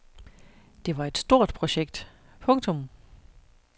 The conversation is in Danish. Det var et stort projekt. punktum